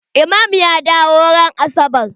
Imam ya dawo ran asabar.